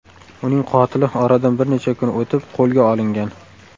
Uning qotili oradan bir necha kun o‘tib qo‘lga olingan.